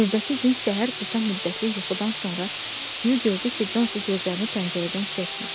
Növbəti gün səhər qısa müddətli yuxudan sonra Su gördü ki, Consi gözlərini pəncərədən çəkmir.